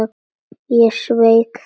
Ég sveik það.